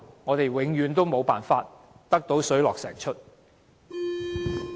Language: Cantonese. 我們永遠無法讓它水落石出。